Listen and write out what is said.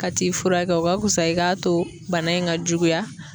Ka t'i furakɛ o ka kusa i k'a to bana in ka juguya